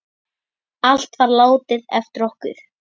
Allt var látið eftir okkur.